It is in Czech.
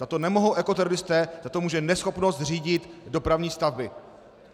Za to nemohou ekoteroristé, za to může neschopnost řídit dopravní stavby.